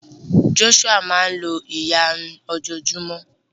Joshua máa n lo ìyárún ojo o júmọ́